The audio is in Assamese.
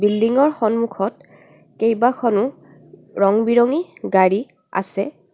বিল্ডিং ৰ সন্মুখত কেইবাখনো ৰং বিৰঙী গাড়ী আছে।